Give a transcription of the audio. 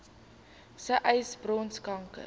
sê uys borskanker